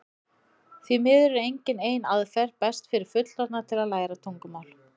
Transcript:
því miður er engin ein aðferð best fyrir fullorðna til að læra tungumál